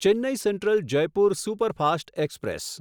Chennai central Jaipur superfast express